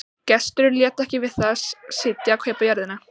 Gesturinn lét ekki við það sitja að kaupa jörðina.